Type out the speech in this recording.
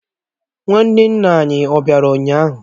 Nwanne nna anyi ó bịara ụnyaahụ?